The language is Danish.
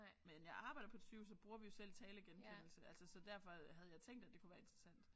Men jeg arbejder på et sygehus der bruger vi jo selv talegenkendelse altså så derfor havde jeg tænkt at det kunne være interessant